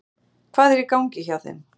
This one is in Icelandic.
Hvað er í gangi hjá þeim?